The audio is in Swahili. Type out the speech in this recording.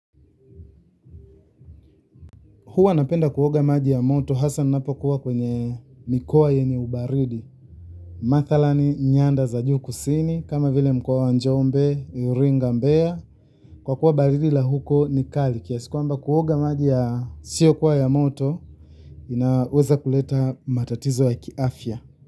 Hua napenda kuoga maji ya moto, hasa ninapo kuwa kwenye mikoa yenye ubaridi. Mathala ni nyanda za juu kusini, kama vile mkoa wa njombe, yuringa mbea. Kwa kuwa baridi la huko ni kali, kiasi kwamba kuoga maji ya siyo kuwa ya moto, inaweza kuleta matatizo ya kiafya.